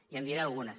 i en diré algunes